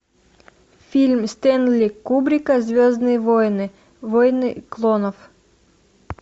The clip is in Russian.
фильм стэнли кубрика звездные войны войны клонов